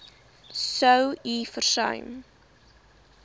sou u versuim